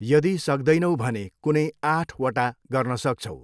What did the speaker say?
यदि सक्दैनौ भने कुनै आठवटा गर्न सक्छौ।